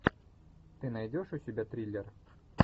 ты найдешь у себя триллер